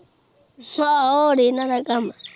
ਇਹਨਾਂ ਦਾ ਕੰਮ